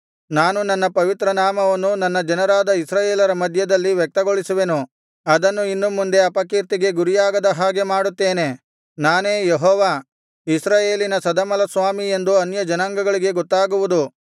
ನಾನು ನನ್ನ ಪವಿತ್ರ ನಾಮವನ್ನು ನನ್ನ ಜನರಾದ ಇಸ್ರಾಯೇಲರ ಮಧ್ಯದಲ್ಲಿ ವ್ಯಕ್ತಗೊಳಿಸುವೆನು ಅದನ್ನು ಇನ್ನು ಮುಂದೆ ಅಪಕೀರ್ತಿಗೆ ಗುರಿಯಾಗದ ಹಾಗೆ ಮಾಡುತ್ತೇನೆ ನಾನೇ ಯೆಹೋವ ಇಸ್ರಾಯೇಲಿನ ಸದಮಲಸ್ವಾಮಿ ಎಂದು ಅನ್ಯ ಜನಾಂಗಗಳಿಗೆ ಗೊತ್ತಾಗುವುದು